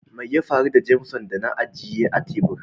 Mai ya faru da "Jameson " da na agiye a tebur?